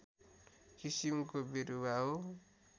किसिमको बिरुवा हो